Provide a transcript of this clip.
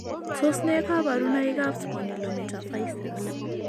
Tos nee kabarunaik ab Spondylometaphyseal ?